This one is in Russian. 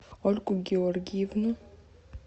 ольгу георгиевну